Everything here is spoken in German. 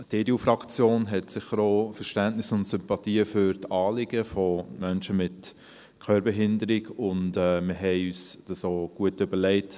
Die EDU-Fraktion hat sicher auch Verständnis und Sympathien für Menschen mit Hörbehinderung, und wir haben uns das auch gut überlegt.